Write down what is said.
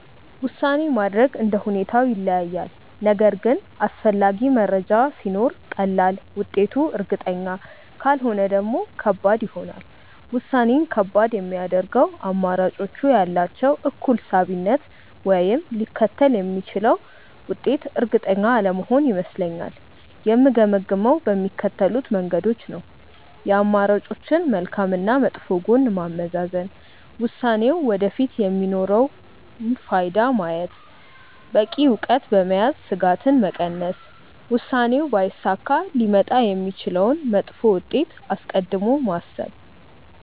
ውሳኔ ማድረግ እንደ ሁኔታው ይለያያል፤ ነገር ግን አስፈላጊ መረጃ ሲኖር ቀላል፣ ውጤቱ እርግጠኛ ካልሆነ ደግሞ ከባድ ይሆናል። ውሳኔን ከባድ የሚያደርገው አማራጮቹ ያላቸው እኩል ሳቢነት ወይም ሊከተል የሚችለው ውጤት እርግጠኛ አለመሆን ይመስለኛል። የምገመግመው በሚከተሉት መንገዶች ነው፦ የአማራጮችን መልካም እና መጥፎ ጎን ማመዛዘን፣ ውሳኔው ወደፊት የሚኖረውን ፋይዳ ማየት፣ በቂ እውቀት በመያዝ ስጋትን መቀነስ፣ ውሳኔው ባይሳካ ሊመጣ የሚችለውን መጥፎ ውጤት አስቀድሞ ማሰብ።